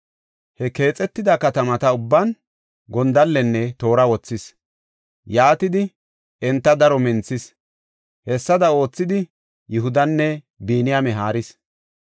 He keexetida katamata ubban gondallenne toora wothis; yaatidi enta daro minthis. Hessada oothidi Yihudanne Biniyaame haaris.